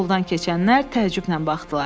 Yoldan keçənlər təəccüblə baxdılar.